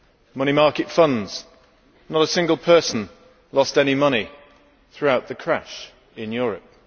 Money market funds not a single person lost any money throughout the crash in Europe.